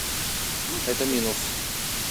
это минус